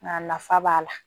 Nka nafa b'a la